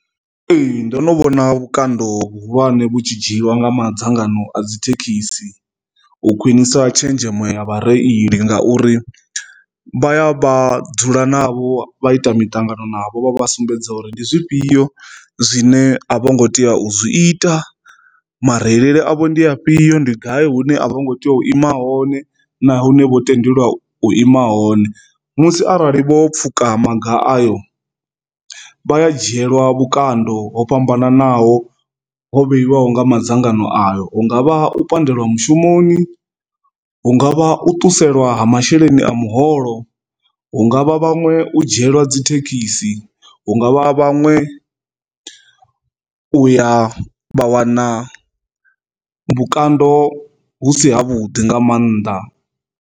Ee, ndo no vhona vhukando vhuhulwane vhu tshi dzhiwa nga madzangano a dzi thekhisi u khwinisa tshenzhemo ya vha reili ngauri vha ya vha dzula navho vha ita miṱangano navho vha vha sumbedza uri ndi zwifhio zwine a vho ngo tea u zwi ita mara delele avho ndi afhio ndi gai hune a vho ngo tea u ima hone na hune vho tendelwa u ima hone, musi arali vho pfhuka maga ayo vhaya dzhielwa vhukando ho fhambananaho ho vheyiwa ine ho nga madzangano ayo hungavha u pandelwa mushumoni, hungavha u ṱusela ha masheleni a muholo, hungavha vhaṅwe u dzhielwa dzi thekhisi, hungavha vhaṅwe u ya vha wana vhukando hu si ha vhuḓi nga mannḓa.